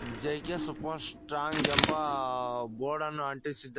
J K super strong ಎಂಬ ಬೋರ್ಡನ್ನು ಅಂಟಿಸಿ--